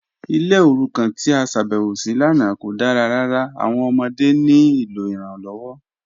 Ilẹ̀ orúkàn tí a ṣábẹ̀wọ sí lánà kò dára ràrà, awọn ọmọdé ní ilọ iranlọwọ